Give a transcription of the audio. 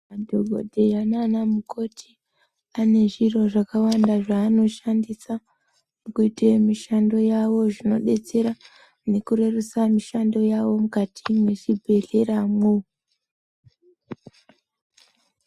Madhogodheya nanamukoti anezviro zvakawanda zvaanoshandisa mukuite mishando yawo, zvinodetsera mukurerutsa mishando yavo mukati mwe zvibhedhlera mwo.